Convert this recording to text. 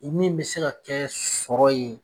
Ni min bɛ se ka kɛ sɔrɔ ye